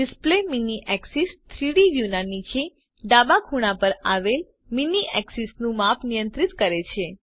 display mini axis3ડી view ના નીચે ડાબા ખૂણા પર આવેલ મીની એક્સીસનું માપ નિયંત્રિત કરે છે